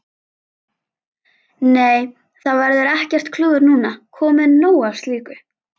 Nei, það verður ekkert klúður núna, komið nóg af slíku.